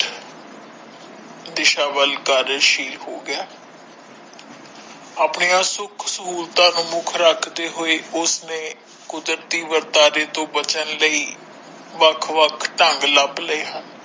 ਦਿਸ਼ਾ ਵੱਲ ਕਦਾਰਸ਼ੀਲ ਹੋ ਗਿਆ ਹੈ ਆਪਣੀਆਂ ਸੁੱਖ ਸਹੁਲਤਾਂ ਨੂੰ ਮੁੱਖ ਰੱਖਦੇ ਹੋਏ ਉਸਨੇ ਕੁਦਰਤੀ ਵਰਤਣੇ ਤੋਂ ਬਚਣ ਲਈ ਵੱਖ ਵੱਖ ਢੰਗ ਲੱਭ ਲਾਏ ਹਨ।